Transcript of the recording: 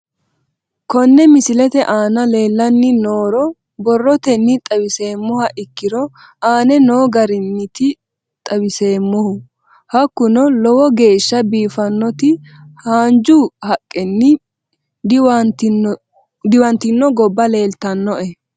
Kone misilete aana leelanni nooro borrotenni xawisemoha ikiiro aane noo garinniti xawiseemohu hakunno lowo geesha biifanoti hanja haqenni diwantino gobba leeltanoe